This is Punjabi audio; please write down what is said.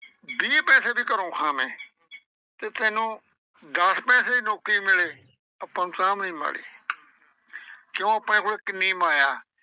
ਵੀਹ ਪੈਸੇ ਵੀ ਘਰੋਂ ਖਾਂਵੇਂ, ਤੇ ਤੈਨੂੰ ਦਸ ਪੈਸੇ ਨੌਕਰੀ ਮਿਲੇ। ਆਪਾਂ ਨੂੰ ਤਾਂ ਵੀ ਨੀ ਮਾੜੀ ਕਿਉਂ ਆਪਣੇ ਕੋਲੇ ਕਿੰਨੀ ਮਾਇਆ।